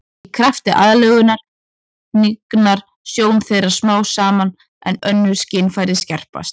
Í krafti aðlögunar hnignar sjón þeirra smám saman en önnur skynfæri skerpast.